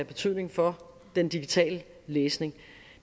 betydning for den digitale læsning